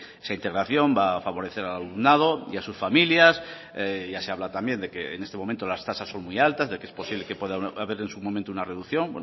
esa integración va a favorecer al alumnado y a sus familias ya se habla también de que en este momento las tasas son muy altas de que es posible que pueda haber en su momento una reducción